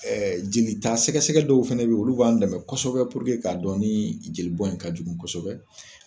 ƐɛJeli ta sɛgɛsɛgɛ dɔw fɛnɛ be ye olu b'an dɛmɛ kosɛbɛ pururke k'a dɔn ni jeli bɔ in ka jugu kosɛbɛ